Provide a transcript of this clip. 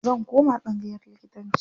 Zan koma tsangayar likitanci.